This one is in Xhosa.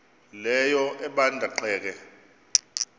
leyo ebanda ceke